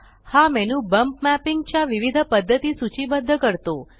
हा menu bump mapping च्या विविध पद्धती सूचीबद्ध करतो